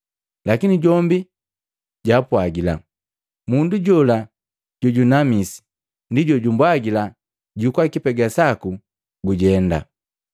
Lakini jombi jaapwagila, “Mundu jola jojunamisi ndi jojumbwajila, ‘Jukua kipega saku gujenda.’ ”